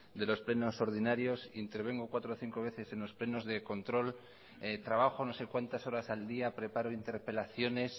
de los plenos ordinarios e intervengo cuatro o cinco veces en los plenos de control trabajo no sé cuántas horas al día preparo interpelaciones